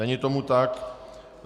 Není tomu tak.